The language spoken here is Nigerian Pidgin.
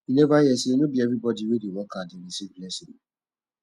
you neva hear sey no be everybodi wey dey work hard dey receive blessing